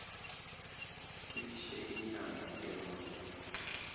cishe inyanga eyodwa